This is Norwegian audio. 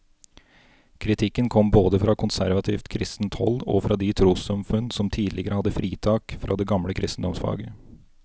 Kritikken kom både fra konservativt kristent hold og fra de trossamfunn som tidligere hadde fritak fra det gamle kristendomsfaget.